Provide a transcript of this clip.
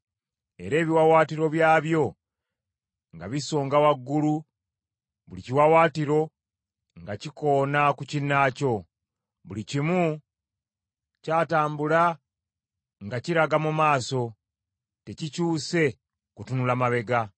era ebiwaawaatiro byabyo nga bisonga waggulu, buli kiwaawaatiro nga kikoona ku kinnaakyo. Buli kimu kyatambula nga kiraga mu maaso, nga tekikyuse kutunula mabega.